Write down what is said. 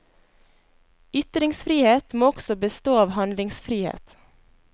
Ytringsfrihet må også bestå av handlingsfrihet.